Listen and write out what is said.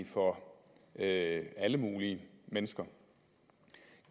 for at alle mulige mennesker